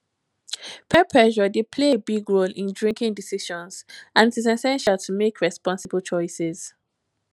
peer pressure dey play a big role in drinking decisions and its essential to make responsible choices